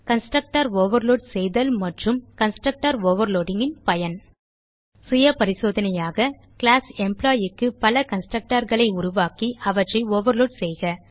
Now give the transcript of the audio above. constructor overload செய்தல் மற்றும் constructor overloadingன் பயன் சுய பரிசோதனையாக கிளாஸ் Employeeக்கு பல constructorகளை உருவாக்கி அவற்றை ஓவர்லோட் செய்க